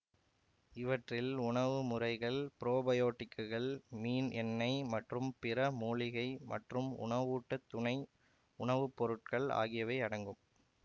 இவற்றில் உணவுமுறைகள் ப்ரோபயோட்டிக்குகள் மீன் எண்ணை மற்றும் பிற மூலிகை மற்றும் உணவூட்ட துணை உணவுப்பொருட்கள் ஆகியவை அடங்கும்